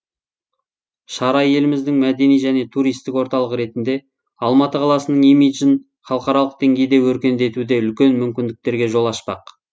шара еліміздің мәдени және туристік орталығы ретінде алматы қаласының имиджін халықаралық деңгейде өркендетуде үлкен мүмкіндіктерге жол ашпақ